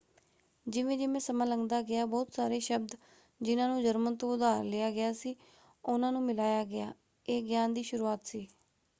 ਜਿਵੇਂ-ਜਿਵੇਂ ਸਮਾਂ ਲੰਘਦਾ ਗਿਆ ਬਹੁਤ ਸਾਰੇ ਸ਼ਬਦ ਜਿਨ੍ਹਾਂ ਨੂੰ ਜਰਮਨ ਤੋਂ ਉਧਾਰ ਲਿਆ ਗਿਆ ਸੀ ਉਹਨਾਂ ਨੂੰ ਮਿਲਾਇਆ ਗਿਆ। ਇਹ ਗਿਆਨ ਦੀ ਸ਼ੁਰੂਆਤ ਸੀ।